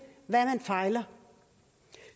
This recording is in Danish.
hvad man fejler